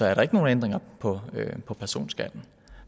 er der ikke nogen ændringer på på personskatten